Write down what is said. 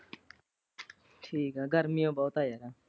ਠੀਕ ਆ ਗਰਮੀਆਂ ਬਹੁਤ ਹੈਂ ਯਾਰ।